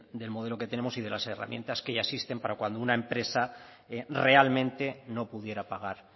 del modelo que tenemos y de las herramientas que ya existen para cuando una empresa realmente no pudiera pagar